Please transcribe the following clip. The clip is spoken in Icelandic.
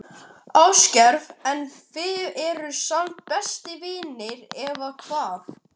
Ásgeir: En þið eruð samt bestu vinir, eða hvað?